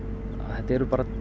þetta eru bara